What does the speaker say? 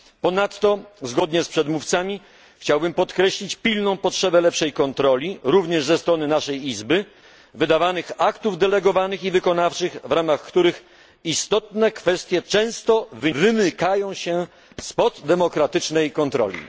Ponadto zgodnie z przedmówcami, chciałbym podkreślić pilną potrzebę lepszej kontroli, również ze strony naszej Izby, wydawanych aktów delegowanych i wykonawczych, w ramach których istotne kwestie często wymykają się spod demokratycznej kontroli.